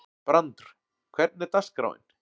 Brandr, hvernig er dagskráin?